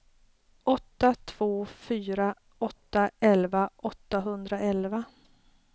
åtta två fyra åtta elva åttahundraelva